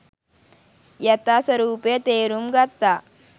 යථා ස්වරූපය තේරුම් ගත්තා